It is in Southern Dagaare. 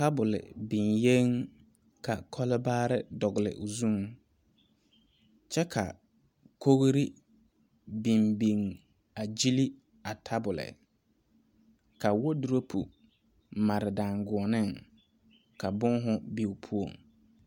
Tabol biŋe ka kɔle baare dogle o zuŋ, kyɛ ka kogri biŋ biŋ a gyile a tabol, ka wadorokyi mare daŋgunee ka boma be o poɔ.